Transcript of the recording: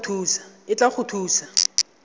e tla go thusa go